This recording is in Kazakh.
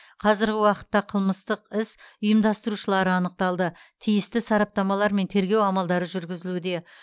қазіргі уақытта қылмыстық іс ұйымдастырушылары анықталды тиісті сараптамалар мен тергеу амалдары жүргізілуде